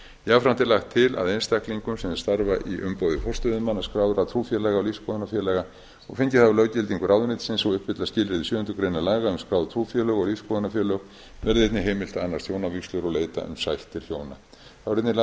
jafnframt er lagt til að einstaklingum sem starfa í umboði forstöðumanna skráðra trúfélaga og lífsskoðunarfélaga og fengið hafa löggildingu ráðuneytisins og uppfylla skilyrði sjöundu grein laga um skráð trúfélög og lífsskoðunarfélög verði einnig heimilt að annast hjónavígslur og leita um sættir hjóna þá eru einnig